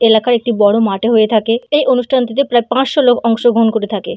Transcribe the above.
এলাকার একটি বড় মাঠে হয়ে থাকে। এই অনুষ্ঠানটিতে প্রায় পাঁচশ লোক অংশগ্রহণ করে থাকে ।